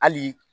Hali